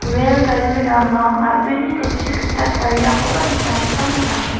rel gari rama a·brini jatchi gita tariakoba nikna gita man·a.